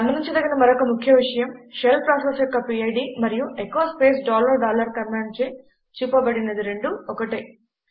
గమనించదగిన మరొక ముఖ్యమైన విషయం షెల్ ప్రాసెస్ యొక్క పిడ్ మరియు ఎచో స్పేస్ డాలర్ డాలర్ కమాండ్చే చూపబడినది రెండు ఒకటే